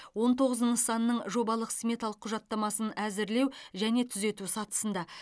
он тоғыз нысанның жобалық сметалық құжаттамасы әзірлеу және түзету сатысында